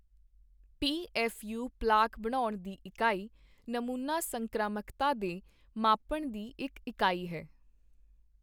PFU plaque ਬਣਾਉਣ ਦੀ ਇਕਾਈ ਨਮੂਨਾ ਸੰਕ੍ਰਾਮਕਤਾ ਦੇ ਮਾਪਣ ਦੀ ਇੱਕ ਇਕਾਈ ਹੈ।